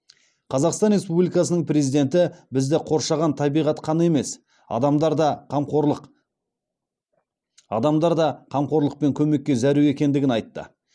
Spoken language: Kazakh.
қазақстан республикасының президенті бізді қоршаған табиғат қана емес адамдар да қамқорлық пен көмекке зәру екендігін айтты